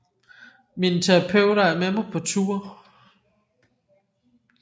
Mine terapeuter er med mig på tour